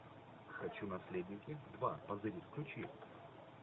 хочу наследники два позырить включи